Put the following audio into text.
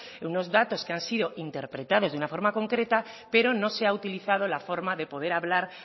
unos datos que han sido interpretados de una forma concreta pero no se ha utilizado la forma de poder hablar